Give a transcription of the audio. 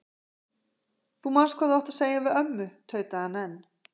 Þú manst hvað þú átt að segja við ömmu tautaði hann enn.